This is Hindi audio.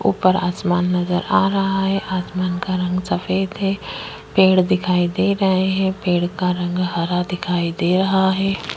ऊपर आसमान नज़र आ रहा है आसमान का रंग सफेद है पेड़ दिखाई दे रहा है पेड़ का रंग हरा दिखाई दे रहा है।